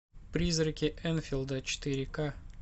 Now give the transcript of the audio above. призраки энфилда четыре ка